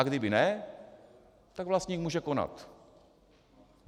A kdyby ne, tak vlastník může konat.